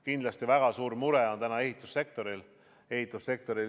Kindlasti väga suur mure on täna ehitussektoril.